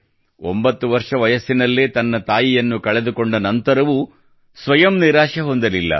9 ವರ್ಷ ವಯಸ್ಸಿನಲ್ಲೇ ತನ್ನ ತಾಯಿಯನ್ನು ಕಳೆದುಕೊಂಡ ನಂತರವೂ ಅವರು ಸ್ವಯಂ ನಿರಾಶೆ ಹೊಂದಲಿಲ್ಲ